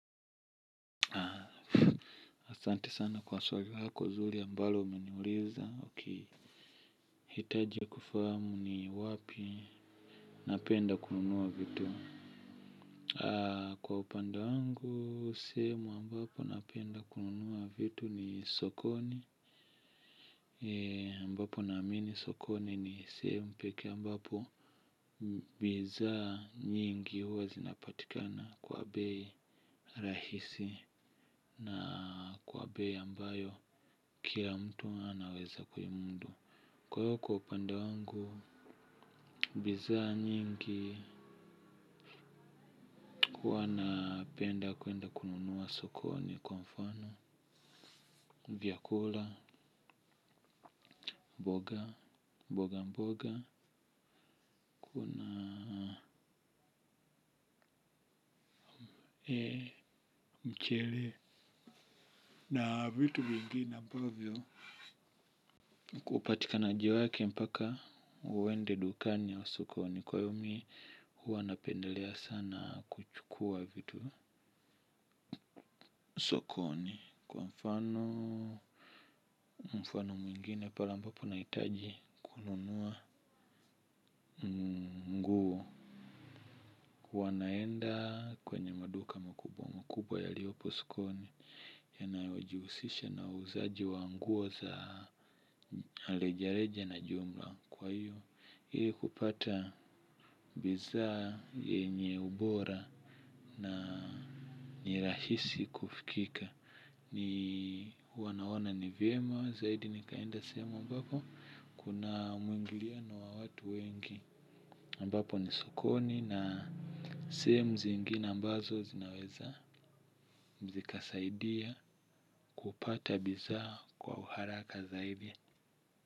Asante sana kwa swali lako zuri ambalo umeniuliza nahitaji kufahamu ni wapi napenda kununua vitu. Kwa upande wangu, sehemu ambapo napenda kununua vitu ni sokoni ambapo naamini sokoni ni sehemu pekee ambapo bidhaa nyingi huwa zinapatikana kwa bei rahisi. Na kwa bei ambayo kila mtu anaweza kuimudu. Kwa hivyo kwa upande wangu. Bidhaa nyingi huwa napenda kuenda kununua sokoni kwa mfano vyakula, mboga, mboga mboga. Kuna ee mchele na vitu vingine ambavyo kupatikanaji wake mpaka uende dukani au sokoni. Kwa yumi huwa napendelea sana kuchukua vitu. Sokoni kwa mfano mfano mwingine pale ambapo nahitaji kununua. Wanaenda kwenye maduka makubwa makubwa yaliyopo sokoni. Yanayojihusisha na uuzaji wa nguo za arejareja na jumla kwa iyo ili kupata bidhaa yenye ubora na ni rahisi kufikika. Ni wanaona nivyema zaidi nikaenda sehemu ambapo kuna umwingiliano wa watu wengi ambapo ni sokoni na sehemu zingine ambazo zinaweza zika saidia kupata bidhaa kwa uharaka zaidi.